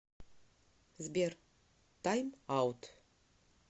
сбер тайм аут